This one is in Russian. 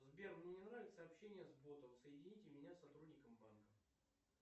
сбер мне не нравится общение с ботом соедините меня с сотрудником банка